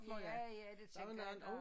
Ja ja det tænker jeg da